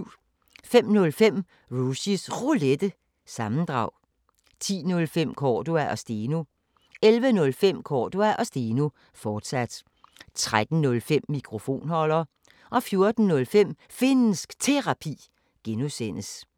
05:05: Rushys Roulette – sammendrag 10:05: Cordua & Steno 11:05: Cordua & Steno, fortsat 13:05: Mikrofonholder 14:05: Finnsk Terapi (G)